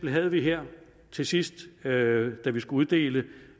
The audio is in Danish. havde vi her til sidst da vi skulle uddele